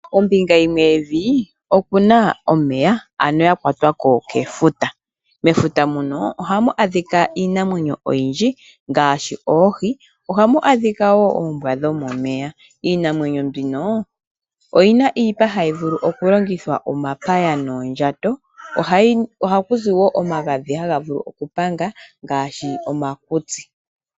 Ombinga yimwe yevi, okuna omeya ano yakwatwa ko kefuta, mefuta muno ohamu adhika iinamwenyo oyindji ngaashi oohi, ohamu adhika woo oombwa dhomomeya. Koombwa dhomomeya ohakuzi oshipa shoka hashi ningwa omapaya, oondjato nomagadhi ngoka haga vulu okupanga uuvu womakutsi.